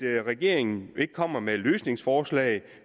regeringen ikke kommer med løsningsforslag